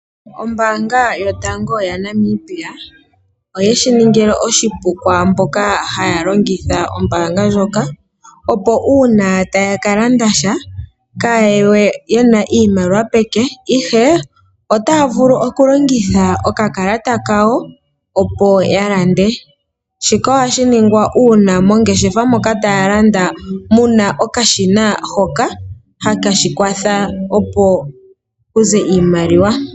Ombaanga yotango yopashigwana oye shi ningi oshipu kwaa mboka haya longitha ombaanga ndjoka, opo uuna taya ka landa sha kaya ye we ye na iimaliwa peke, ihe otaya vulu okulongitha okakalata kawo, opo ya lande. Shika ohashi ningwa uuna mongeshefa moka mu na okashina hoka haka kwatha opo ku ze iimaliwa.